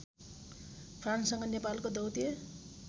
फ्रान्ससँग नेपालको दौत्य